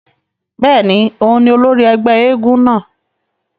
Bẹ́ẹ̀ni, oùn ni ólòri ẹgbẹ èègún náa